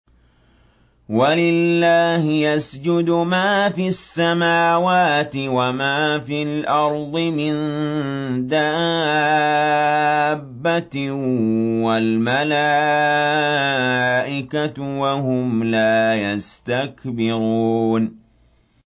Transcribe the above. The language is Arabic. وَلِلَّهِ يَسْجُدُ مَا فِي السَّمَاوَاتِ وَمَا فِي الْأَرْضِ مِن دَابَّةٍ وَالْمَلَائِكَةُ وَهُمْ لَا يَسْتَكْبِرُونَ